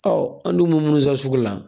an dun bɛ mun san sugu la